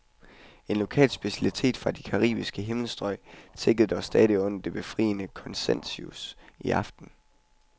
En lokal specialitet fra de caraibiske himmelstrøg tikkede stadig under det befriende konsensus i aftes.